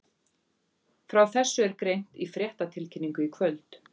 Frá þessu er greint í fréttatilkynningu í kvöld.